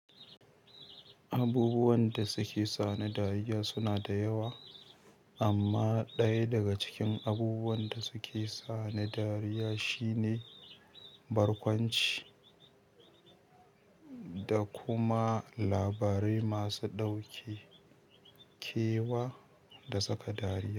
Abubuwan da suke sani dariya suna da yawa, amma ɗaya daga cikin abubuwan da suke sani dariya shine barkwanci da kuma labarai masu ɗauke kewa da saka dariya.